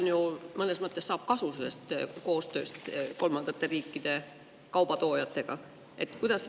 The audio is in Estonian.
Ta ju mõnes mõttes saab kasu sellest koostööst kolmandatest riikidest kauba toojatega.